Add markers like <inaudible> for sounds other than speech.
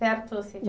Perto <unintelligible>